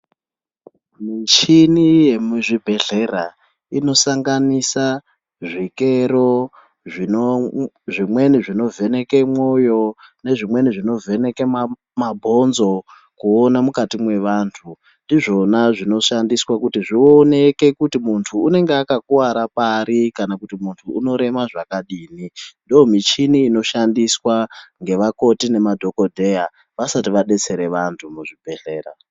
Muchini yemuzvibhehlera inosanganisa zvikero zvimweni zvinovheneke mwoyo, nezvimweni zvinovheneke mabhonzo kuona mukati mwevantu. Ndizvona zvinoshandiswa kuti zvioneke kuti muntu unenge akakuwara pari kana kuti muntu unorema zvakadini. Ndomichini inoshandiswa ngevakoti nemadhokodheya vasati vadetsers vantu muzvibhehlera.